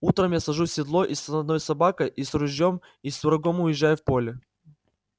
утром я сажусь в седло и с одной собакой и с ружьём и с рогом уезжаю в поле